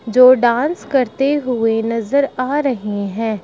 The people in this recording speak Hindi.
जो डांस करते हुए नजर आ रहे हैं।